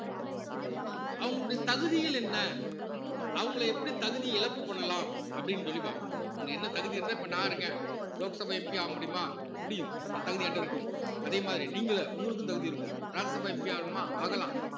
அவங்களுடைய தகுதிகள் என்ன அவங்கள எப்படி தகுதி இழப்பு பண்ணலாம் அப்படீன்னு சொல்லி பாப்போம் அவங்க என்ன தகுதி இருந்தா இப்ப நான் இருக்கேன் லோக்சபா MP ஆக முடியுமா முடியும் அந்த தகுதி என்கிட்ட இருக்கும் அதே மாதிரி நீங்க உங்களுக்கும் தகுதி இருக்கும் ராஜ்யசபா MP ஆகணுமா ஆகலாம்